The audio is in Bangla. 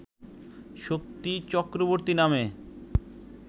শক্তি চক্রবর্তী নামে